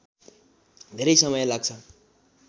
धेरै समय लाग्छ